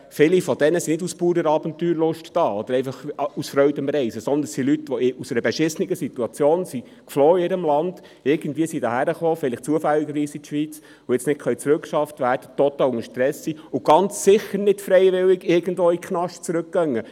Viele von diesen sind nicht aus purer Abenteuerlust hier oder einfach aus Freude am Reisen, sondern es sind Leute, die aus einer beschissenen Situation aus ihrem Land geflohen sind, die irgendwie, vielleicht zufällig, in die Schweiz gekommen sind, und jetzt nicht zurückgeschafft werden können, total unter Stress sind und ganz sicher nicht freiwillig irgendwo in den Knast zurückgehen.